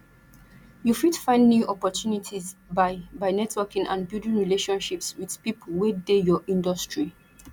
you fit find new opportunities by by networking and building relationships with people wey dey your industry